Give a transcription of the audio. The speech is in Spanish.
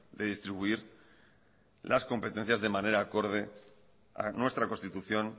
de distribuir las competencias de manera acorde a nuestra constitución